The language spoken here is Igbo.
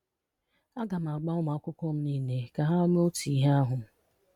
A ga m agwa ụmụ akwụkwọ m niile ka ha mee otú ihe ahụ